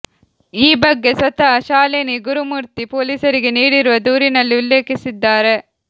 ಈ ಬಗ್ಗೆ ಸ್ವತಃ ಶಾಲಿನಿ ಗುರುಮೂರ್ತಿ ಪೊಲೀಸರಿಗೆ ನೀಡಿರುವ ದೂರಿನಲ್ಲಿ ಉಲ್ಲೇಖಿಸಿದ್ದಾರೆ